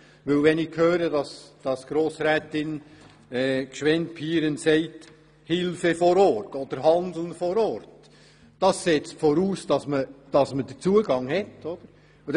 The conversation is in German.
Wenn ich höre, dass Grossrätin Gschwend-Pieren von Hilfe vor Ort oder Handeln vor Ort spricht, setzt dies voraus, dass man den Zugang hat.